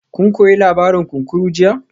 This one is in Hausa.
Kun koyi labarin kunkuru jiya?